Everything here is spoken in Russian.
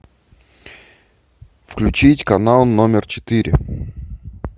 включить канал номер четыре